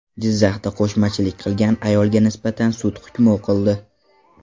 Jizzaxda qo‘shmachilik qilgan ayolga nisbatan sud hukmi o‘qildi.